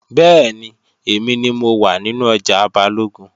Bẹ́ẹ̀ni, èmi ni mo wà nínú ọjà Balógun